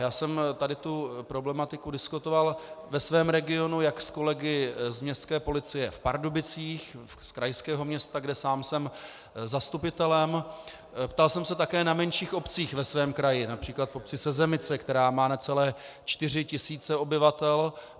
Já jsem tady tu problematiku diskutoval ve svém regionu jak s kolegy z Městské policie v Pardubicích, z krajského města, kde sám jsem zastupitelem, ptal jsem se také na menších obcích ve svém kraji, například v obci Sezemice, která má necelé čtyři tisíce obyvatel.